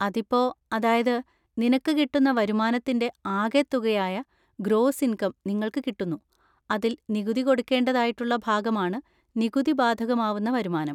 അതിപ്പോ, അതായത്, നിനക്ക് കിട്ടുന്ന വരുമാനത്തിൻ്റെ ആകെ തുകയായ ഗ്രോസ് ഇൻകം നിങ്ങള്‍ക്ക് കിട്ടുന്നു. അതിൽ നികുതി കൊടുക്കേണ്ടതായിട്ടുള്ള ഭാഗമാണ് നികുതി ബാധകമാവുന്ന വരുമാനം.